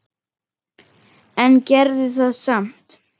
En gerði það samt.